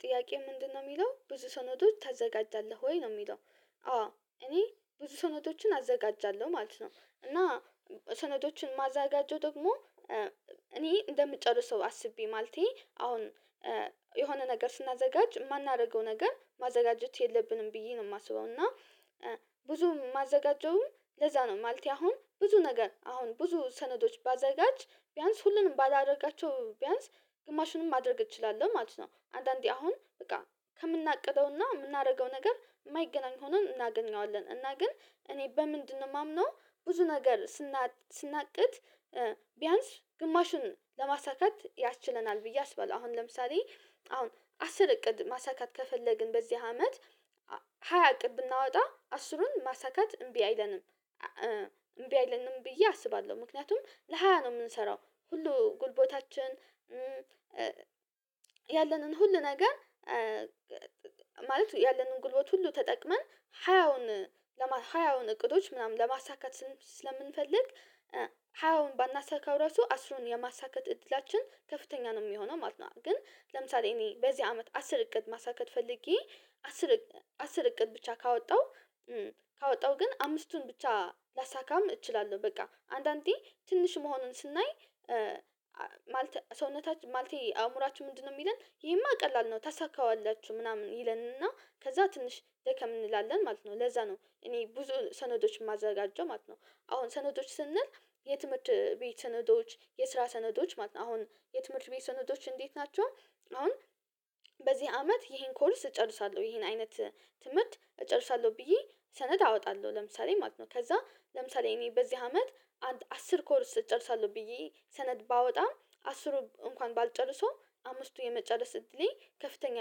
ጥያቄ ምንድነው ሚለው ብዙ ሰነዶች ታዘጋጃለህ ወይ ነው የሚለው? አዎ እኔ ብዙ ሰነዶችን አዘጋጃለሁ ማለት ነው። እና ሰነዶችን ማዘጋጀው ደግሞ እኔ እንደምጨርሰው አስቤ ማለቴ አሁን የሆነ ነገር ስናዘጋጅ ማናረገው ነገር ማዘጋጀት የለብንም ብዬ ነው የማስበው እና ብዙ ማዘጋጀውም ለዛ ነው ማለቴ አሁን ብዙ ነገር አሁን ብዙ ሰነዶች ባዘጋጅ ቢያንስ ሁሉንም ባላደርጋቸው ቢያንስ ግማሹንም ማድረግ እችላለሁ ማለት ነው። አንዳንዴ አሁን በቃ ከምናቅደውና ምናረገው ነገር የማይገናኝ ሆኖ እናገኘዋለን እና ግን እኔ በምንድነው ማምነው ብዙ ነገር ስናቅ ስናቅድ ቢያንስ ግማሹን ለማሳካት ያስችለናል ብዬ አስባለሁ። አሁን ለምሳሌ አሁን አስር እቅድ ማሳካት ከፈለግን በዚህ አመት ሃያ እቅድ ብናወጣ አስሩን ማሳካት እምቢ አይለንም እምቢ አይለንም ብዬ አስባለሁ። ምክንያቱም ለሃያ ነው ምንሰራው ሁሉ ጉልቦታችን ያለንን ሁሉ ነገር ማለት ያለን ጉልበት ሁሉ ተጠቅመን ሀያውን ሀያውን እቅዶች ምናምን ለማሳካት ስለምንፈልግ ሃያውን ባናሳካው ራሱ አስሩን የማሳካት እድላችን ከፍተኛ ነው ሚሆነው ማለት ነው። ግን ለምሳሌ እኔ በዚህ አመት አስር እቅድ ማሳካት ፈልጌ አስር አስር እቅድ ብቻ ካወጣው ካወጣው ግን አምስቱን ብቻ ላሳካም እችላለሁ በቃ አንዳንዴ ትንሽ መሆኑን ስናይ ማለተ ሰውነታችን ማለቴ አእምሮአችን ምንድነው የሚለን ይሄማ ቀላል ነው ታሳካዋላችሁ ምናምን ይለንና ከዛ ትንሽ ደከም እንላለን ማለት ነው ለዛ ነው እኔ ብዙ ሰነዶችን ማዘጋጀው ማለት ነው። አሁን ሰነዶች ስንል የትምህርት ቤት ሰነዶች የስራ ሰነዶች ማለት ነው አሁን የትምህርት ቤት ሰነዶች እንዴት ናቸው? አሁን በዚህ አመት ይሄን ኮርስ እጨርሳለሁ ይሄን አይነት ትምህርት እጨርሳለሁ ብዬ ሰነድ አወጣለሁ ለምሳሌ ማለት ነው። ከዛ ለምሳሌ እኔ በዚህ አመት አስር ኮርስ እጨርሳለሁ ብዬ ሰነድ ባወጣም አስሩ እንኳን ባልጨርሶ አምስቱን የመጨረስ እድሌ ከፍተኛ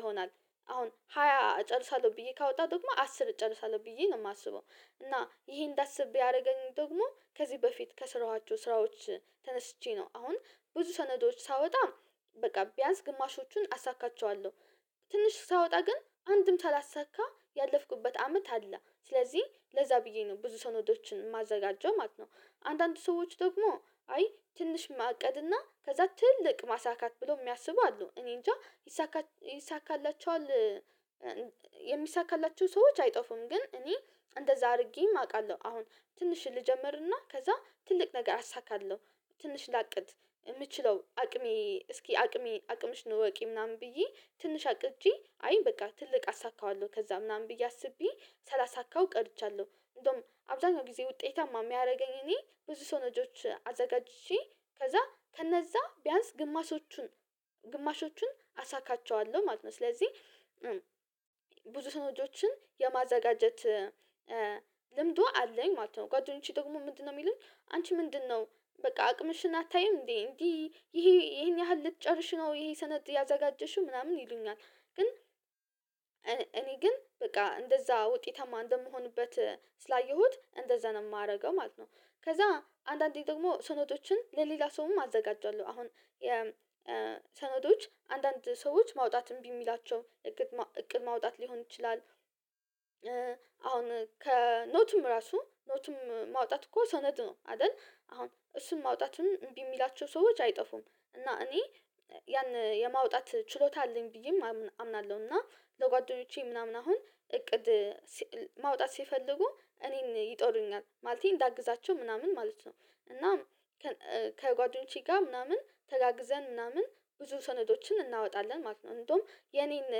ይሆናል። አሁን ሃያ እጨርሳለሁ ብዬ ካወጣሁ ደግሞ አስር እጨርሳለሁ ብዬ ነው ማስበው እና ይሄን እንዳስብ ያረገኝ ደግሞ ከዚህ በፊት ከስረዋቸው ስራዎች ተነስቼ ነው አሁን ብዙ ሰነዶች ሳወጣ በቃ ቢያንስ ግማሾቹን አሳካቸዋለሁ ትንሽ ሳወጣ ግን አንድም ሳላሳካ ያለፍኩበት አመት አለ ስለዚህ ለዛ ብዬ ነው ብዙ ሰነዶችን ማዘጋጀው ማለት ነው። አንዳንድ ሰዎች ደግሞ አይ ትንሽ ማቀድና ከዛ ትልቅ ማሳካት ብሎ የሚያስቡ አሉ እኔንጃ ይሳካላችኋል የሚሳካላችሁ ሰዎች አይጠፉም ግን እኔ እንደዛ አድርጌም አውቃለሁ አሁን ትንሽ ልጀምርና ከዛ ትልቅ ነገር አሳካለሁ። ትንሽ ላቅድ ምችለው አቅሜ እስኪ አቅሜ አቅምሽን እወቂ ምናምን ብዬ ትንሽ አቅጄ አይ በቃ ትልቅ አሳካዋለሁ ከዛ ምናምን ብዬ አስቤ ሳላሳ ካው ቀርቻለሁ እንደውም አብዛኛው ጊዜ ውጤታማ ሚያረገኝ እኔ ብዙ ሰነዶች አዘጋጅቼ ከዛ ከነዛ ቢያንስ ግማሾቹን ግማሾቹን አሳካቸዋለሁ ማለት ነው። ስለዚህ ብዙ ሰነጆችን የማዘጋጀት ልምዱ አለኝ ማለት ነው። ጓደኞቼ ደግሞ ምንድነው ሚሉኝ አንቺ ምንድነው በቃ አቅምሽን አታይም እንዴ? እንዲህ ይሄ ይሄን ያህል ልትጨርሽ ነው ይሄ ሰነድ ያዘጋጀሽው ምናምን ይሉኛል ግን እኔ ግን በቃ እንደዛ ውጤታማ እንደምሆንበት ስላየሁት እንደዛ ነው የማደርገው ማለት ነው። ከዛ አንዳንዴ ደግሞ ሰነዶችን ለሌላ ሰውም አዘጋጃለሁ አሁን የ ሰነዶች አንዳንድ ሰዎች ማውጣትም እምቢሚላቸው እቅድ እቅድ ማውጣት ሊሆን ይችላል። አሁን ከኖትም ራሱ ኖትም ማውጣት እኮ ሰነድ ነው አደል? አሁን እሱን ማውጣትም እምቢ ሚላቸው ሰዎች አይጠፉም እና እኔ ያን የማውጣት ችሎታ አለኝ ብዬም አምናለሁ እና ለጓደኞቼ ምናምን አሁን እቅድ ማውጣት ሲፈልጉ እኔን ይጦሩኛል ማለቴ እንዳግዛቸው ምናምን ማለት ነው። እናም ከጓደኞቼ ጋር ምናምን ተጋግዘን ምናምን ብዙ ሰነዶችን እናወጣለን ማለት ነው። እንደውም የኔን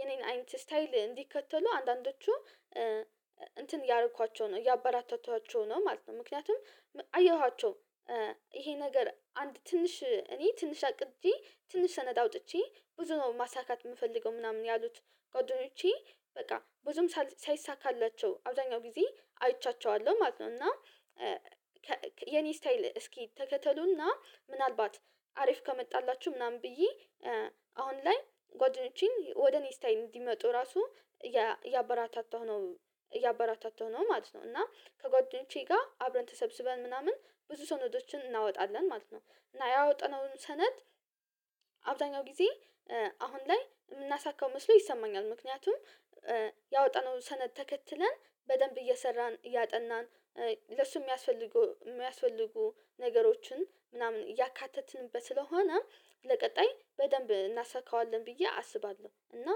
የኔን አይነት ስታይል እንዲከተሉ አንዳንዶቹ እንትን እያረኳቸው ነው እያበራታታኋቸው ነው ማለት ነው። ምክንያቱም አየኋቸው ይሄ ነገር አንድ ትንሽ እኔ ትንሽ አቅጄ ትንሽ ሰነድ አውጥቼ ብዙ ነው ማሳካት ምፈልገው ምናምን ያሉት ጓደኞቼ በቃ ብዙም ሳይሳካላቸው አብዛኛው ጊዜ አይቻቸዋለሁ ማለት ነው። እና የኔ ስታይል እስኪ ተከተሉና ምናልባት አሪፍ ከመጣላችሁ ምናምን ብዬ አሁን ላይ ጓደኞቼን ወደኔ ስታይል እንዲመጡ ራሱ እያበራታታሁ ነው እያበራታተው ነው ማለት ነው። እና ከጓደኞቼ ጋር አብረን ተሰብስበን ምናምን ብዙ ሰነዶችን እናወጣለን ማለት ነው። እና ያወጣነውን ሰነድ አብዛኛው ጊዜ አሁን ላይ ምናሳካው መስሎ ይሰማኛል ምክንያቱም ያወጣነውን ሰነድ ተከትለን በደምብ እየሰራን እያጠናን ለሱ ሚያስፈልጉ የሚያስፈልጉ ነገሮችን ምናምን እያካተትንበት ስለሆነ ለቀጣይ በደምብ እናሳካዋለን ብዬ አስባለሁ። እና